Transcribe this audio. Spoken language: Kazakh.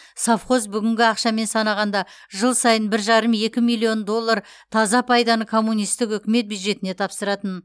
совхоз бүгінгі ақшамен санағанда жыл сайын бір жарым екі миллион доллар таза пайданы коммунистік үкімет бюджетіне тапсыратын